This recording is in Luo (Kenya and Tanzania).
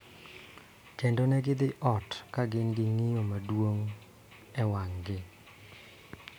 Kendo ne gidhi ot ka gin gi ng�iyo maduong� e wang�gi.